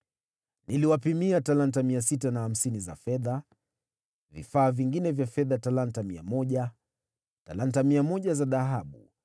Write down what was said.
Niliwapimia talanta 650 za fedha, vifaa vingine vya fedha vya uzito wa talanta mia moja, talanta mia moja za dhahabu,